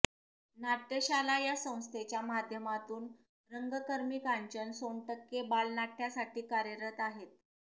नाट्यशाला या संस्थेच्या माध्यमातून रंगकर्मी कांचन सोनटक्के बालनाट्यासाठी कार्यरत आहेत